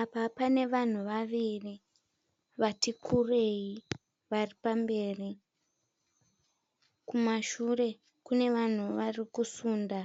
Apa panevanhu vaviri, vati kurei, varipamberi. Kumashure kunevanhu varikusunda,